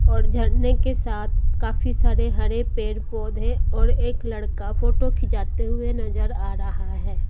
और झरने के साथ काफी सारे हरे पेड़ पौधे और एक लड़का फोटो खिंचाते हुए नजर आ रहा है।